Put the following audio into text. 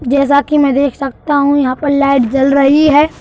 देख सकता हूं यहाँ पर लाइट जल रही है।